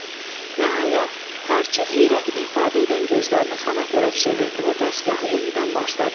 Nəhayət, tarçı heyrət ifadə edən gözlərini xana tərəf çevirdi və dəstgahı yenidən başladı.